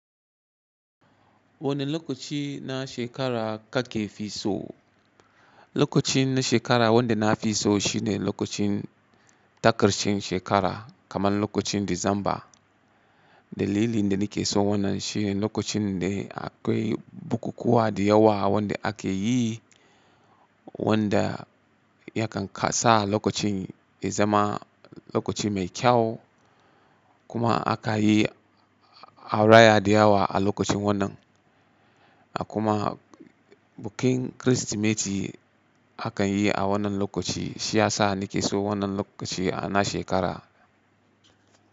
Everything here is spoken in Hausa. Wane lokaci na shekara kake fi so? Lokacin na shekara wanda na fi so shine lokacin ta ƙarshen shekara kamar lokacin Disamba. Dalilin da nake so wannan shi ne lokacin da akwai bukukuwa da yawa wanda ake yi wanda yakan ka sa lokacin ya zama lokaci mai kyau kuma aka yi araya da yawa a lokacin wannan. Kuma bikin Kirsimeti akan yi a wannan lokaci shiyasa nake so wannan lokaci a na shekara.